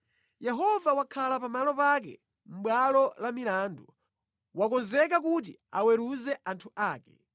Yehova wakhala pamalo pake mʼbwalo la milandu; wakonzeka kuti aweruze anthu ake.